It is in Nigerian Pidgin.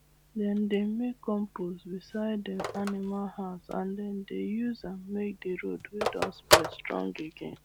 dem dey make compost beside dem animal house and dem dey use am make the road wey don spoil strong again